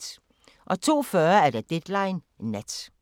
02:40: Deadline Nat